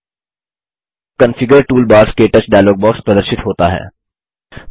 थे configure toolbars - क्टच dialog box प्रदर्शित होता है